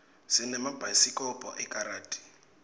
sinemabhayisikobho ekaradi